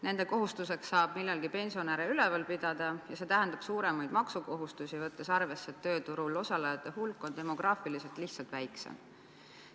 Nende kohuseks saab millalgi pensionäre üleval pidada ja see tähendab suuremaid maksukohustusi, võttes arvesse, et tööturul osalejate hulk on demograafiliselt siis lihtsalt väiksem.